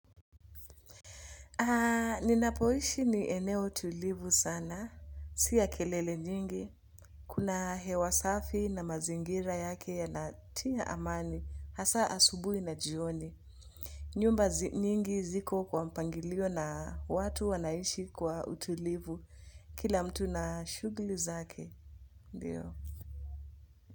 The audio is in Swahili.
Aaaa, ninapoishi ni eneo tulivu sana. Sia kelele nyingi. Kuna hewa safi na mazingira yake yanatia amani. Hasa asubuhi na jioni. Nyumba nyingi ziko kwa mpangilio na watu wanaishi kwa utulivu. Kila mtu na shughuli zake. Ndiyo.